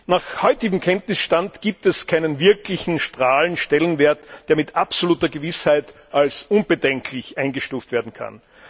Nach heutigem Kenntnisstand gibt es keinen wirklichen Strahlenwert, der mit absoluter Gewissheit als unbedenklich eingestuft werden kann.